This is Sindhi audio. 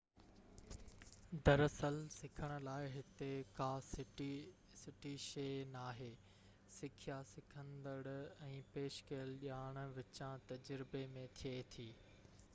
در اصل سکڻ لاءِ هتي ڪا سٺي شيءِ ناهي سکيا سکندڙ ۽ پيش ڪيل ڄاڻ وچان تجربي ۾ ٿئي ٿي